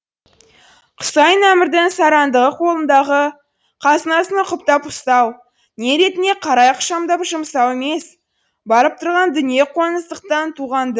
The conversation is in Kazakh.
құсайын әмірдің сараңдығы қолындағы қазынасын ұқыптап ұстау не ретіне қарай ықшамдап жұмсау емес барып тұрған дүние қоңыздықтан туған ды